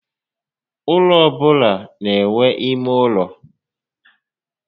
Ụlọ ọbụla n'enwe ímé ụlọ